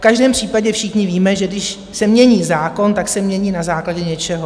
V každém případě všichni víme, že když se mění zákon, tak se mění na základě něčeho.